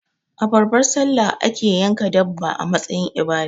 A babbar sallah ake yanka dabba a matsayin ibada